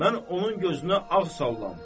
Mən onun gözünə ağ sallam.